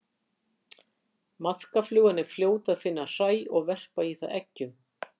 maðkaflugan er fljót að finna hræ og verpa í það eggjum